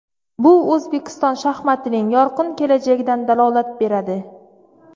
Bu O‘zbekiston shaxmatining yorqin kelajagidan dalolat beradi.